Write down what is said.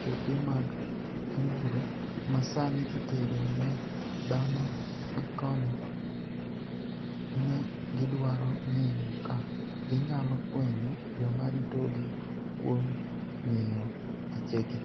Choke mag aniguro maSaanii itero ni e dhano gikoni e, ni e gidwaro nig'eyo ka giniyalo fweniyo joma ritogi kuom nig'iyo pichegi.